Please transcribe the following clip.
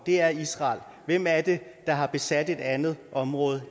det er israel hvem er det der har besat et andet område